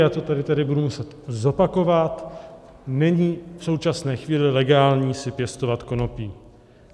Já to tady tedy budu muset zopakovat, není v současné chvíli legální si pěstovat konopí.